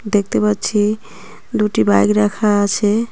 দেখতে পাচ্ছি দুটি বাইক রাখা আছে।